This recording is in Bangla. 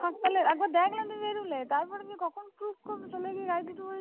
আমি তো দেখলাম তুমি বেরোলে। তারপর তুমি কখন গাড়িতে উঠে